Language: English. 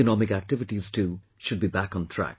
Economic activities too should be back on track